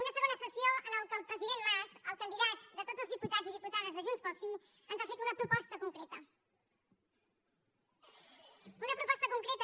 una segona sessió en la qual el president mas el candidat de tots els diputats i diputades de junts pel sí ens ha fet una proposta concreta